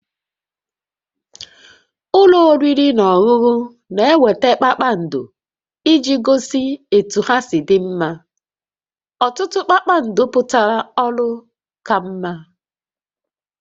Ụlọ oriri na ọṅụṅụ na-enweta kpakpando iji gosi etu ha si dị mma, ọtụtụ kpakpando pụtara ọrụ ka mma